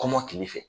Kɔmɔkili fɛ